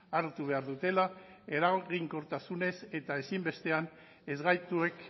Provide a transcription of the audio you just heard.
hartu behar dutela eraginkortasunez eta ezinbestean ezgaituek